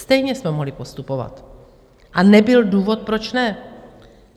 Stejně jsme mohli postupovat a nebyl důvod, proč ne.